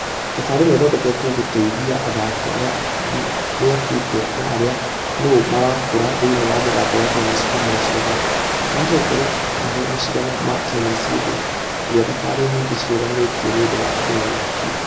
Thabarĩ ĩno ĩthondeketwo gũtĩithia athaki arĩa mĩakĩte na arĩa nũ marakũra thĩinĩ wa mũthako wa tennis kuuma gĩcigo gĩa..... Mahote gũkorwo malĩgiq mashidano ma tennis hĩndĩ ĩrĩa thabarĩ nyingĩ cirũgamĩtio nĩũndũ wa kĩng'uki.